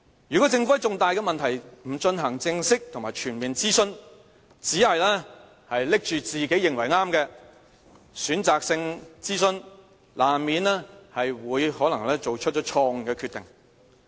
如果政府在重大的問題不進行正式和全面諮詢，只是拿着自己認為對的選擇性諮詢，難免會作出錯誤的決定。